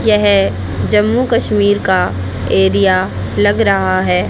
यह जम्मू कश्मीर का एरिया लग रहा है।